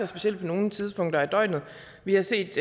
specielt på nogle tidspunkter af døgnet vi har set